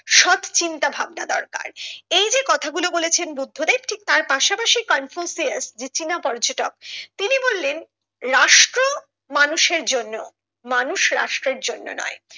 সৎ চিন্তা ভাবনা দরকার এই যে কথাগুলো বলেছেন বুদ্ধ দেব ঠিক তার পাশাপাশি কনফুসিয়াস যে চীন পর্যটক তিনি বললেন রাষ্ট্র মানুষের জন্য মানুষ রাষ্ট্রের জন্য নয়।